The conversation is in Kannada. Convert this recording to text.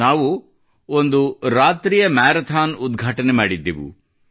ನಾವು ಒಂದು ಇರುಳು ಮ್ಯಾರಾಥಾನ್ ಉದಘಾಟನೆ ಮಾಡಿದ್ದೆವು